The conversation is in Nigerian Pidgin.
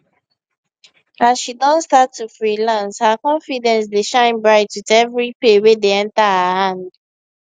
as she don start to freelance her confidence dey shine bright with every pay wey dey enter her hand